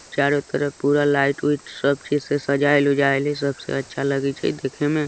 चारो तरफ पूरा लाइट उइट से सब चीज़ सजायल उजयल हैय सबसे अच्छा लगइ छय देखे में --